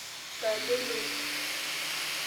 Saa aja ilotu?